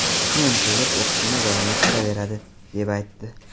Keyin kelib, o‘qishini davom ettiraveradi, deb aytdi.